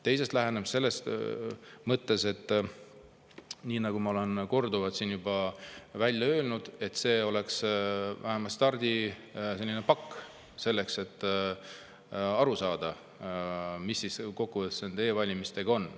Teisest lähenemisest selles mõttes, et nii nagu ma olen korduvalt siin juba välja öelnud, see peab olema vähemalt stardipakk, selleks et aru saada, mis kokkuvõttes nende e-valimistega on.